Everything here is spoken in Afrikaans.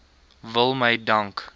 wil my dank